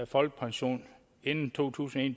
folkepension inden to tusind og